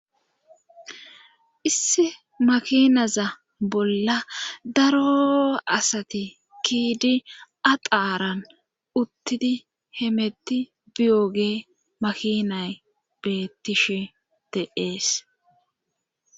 IssI makinaza bolla daro asati kiidi axaaran uttidi hemetti biyooge makinay bettishe teees